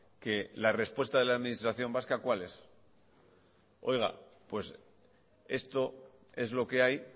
que la respuesta de la administración vasca cuál es oiga pues esto es lo que hay